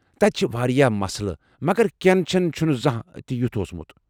تتہِ چِھ وارِیاہ مسلہٕ مگر کھٮ۪ن چٮ۪ن چُھنہٕ زانہہ تہِ یُتھ اوسمُت ۔